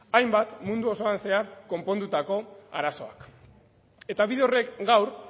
hainbat mundu osoan zehar konpondutako arazoak eta bide horrek gaur